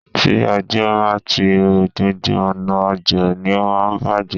Tí òjò bá ti rọ̀, gbogbo ọ̀nà ọjà ni ó máa ń bàjé.